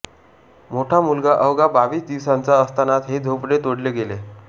मोठा मुलगा अवघा बावीस दिवसांचा असतानाच हे झोपडे तोडले गेले